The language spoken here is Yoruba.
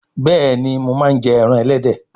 Béèni mọ má njẹ èràn elédè